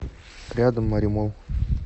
рядом моремолл